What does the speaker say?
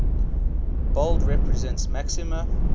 bold represents maxima